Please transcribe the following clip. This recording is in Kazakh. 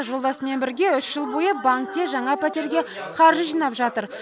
жолдасымен бірге үш жыл бойы банкте жаңа пәтерге қаржы жинап жатыр